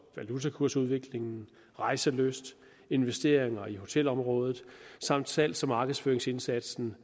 valutakursudvikling rejselyst investeringer i hotelområdet samt salgs og markedsføringsindsatsen